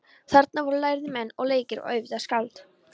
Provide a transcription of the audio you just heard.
Þarna voru lærðir menn og leikir og auðvitað skáld.